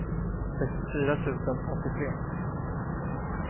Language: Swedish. sextiofyra tusen åttiotre